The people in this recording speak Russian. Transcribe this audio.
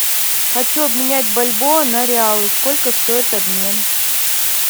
хочу обменять бальбоа на реалы сколько стоит обмен